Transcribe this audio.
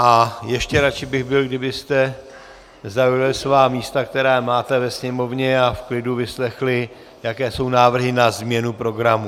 A ještě radši bych byl, kdybyste zaujali svá místa, která máte ve sněmovně, a v klidu vyslechli, jaké jsou návrhy na změnu programu.